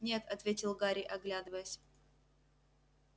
нет ответил гарри оглядываясь